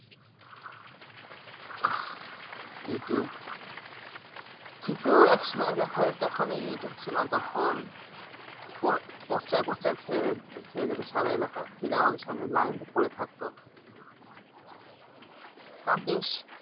Youtube কিন্তু একসময় দেখা যায় যখন Youtube ছিলনা তখন পো পোস্টারে পোস্টারে ছে ছেয়ে যেতো সারা এলাকা সিনেমা হলের সামনের লাইন পড়ে থাকতো তা বেশ